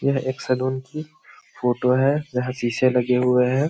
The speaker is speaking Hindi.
यह एक सलून की फोटो है जहां शीशे लगे हुए हैं।